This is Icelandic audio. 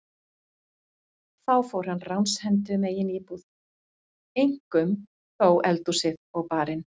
Þá fór hann ránshendi um eigin íbúð, eink- um þó eldhúsið og barinn.